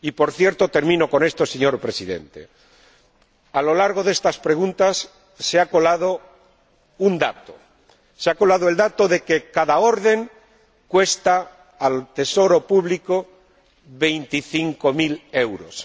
Y, por cierto, señor Presidente, a lo largo de estas preguntas se ha colado un dato se ha colado el dato de que cada orden cuesta al Tesoro Público veinticinco mil euros.